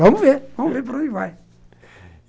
Vamos ver, vamos ver para onde vai.